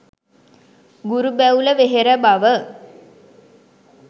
ගුරු බැවුල වෙහෙර බව